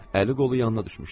Əli-qolu yanına düşmüşdü.